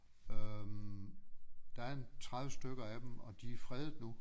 Øh der er en 30 stykker af dem og de er fredet nu